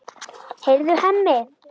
Heyrðu, Hemmi!